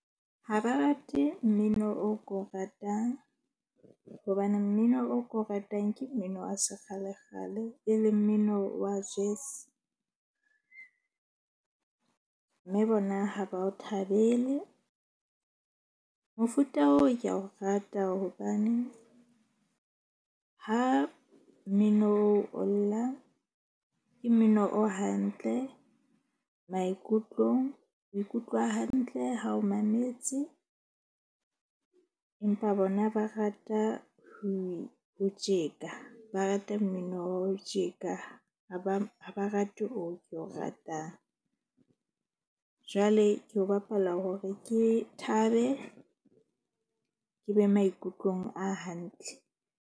Ha ba rate mmino o ko ratang. Hobane mmino o ko ratang ke mmino wa sekgalekgale, e leng mmino wa jazz. Mme bona ha ba o thabele. Mofuta oo ka o rata hobaneng ha mmino o lla ke mmino o hantle maikutlong. O ikutlwa hantle ha o mametse, empa bona ba rata ho ho tjeka. Ba rata mmino wa ho tjeka, ha ba rate oo ke o ratang. Jwale ke o bapala hore ke thabe ke be maikutlong a hantle.